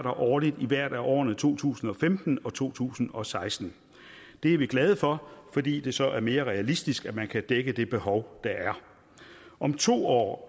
årligt i hvert af årene to tusind og femten og to tusind og seksten det er vi glade for fordi det så er mere realistisk at man kan dække det behov der er om to år